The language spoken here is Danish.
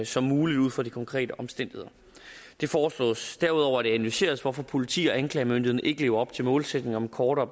som muligt ud fra de konkrete omstændigheder det foreslås derudover at det analyseres hvorfor politi og anklagemyndighed ikke lever op til målsætningen om kortere